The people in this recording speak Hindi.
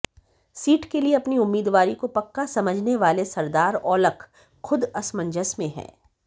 सीट के लिए अपनी उम्मीदवारी को पक्का समझने वाले सरदार औलख खुद असंमजस में हैं